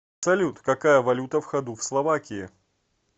салют какая валюта в ходу в словакии